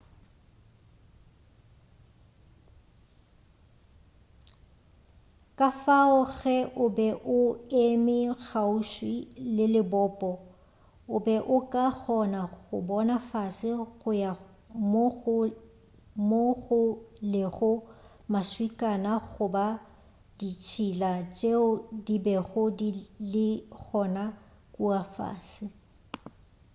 kafao ge o be o eme kgauswi le lebopo o be o ka kgona go bona fase go ya mo go lego maswikana goba ditšhila tšeo di bego di le gona kua fase